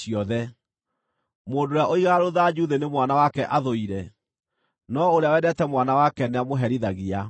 Mũndũ ũrĩa ũigaga rũthanju thĩ nĩ mwana wake athũire, no ũrĩa wendete mwana wake nĩamũherithagia.